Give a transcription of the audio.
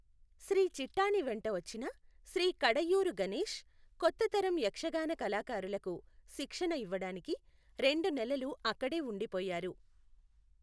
శ్రీ చిట్టాణి వెంట వచ్చిన శ్రీ కిడయూరు గణేష్, కొత్త తరం యక్షగాన కళాకారులకు శిక్షణ ఇవ్వడానికి రెండు నెలలు అక్కడే ఉండిపోయారు.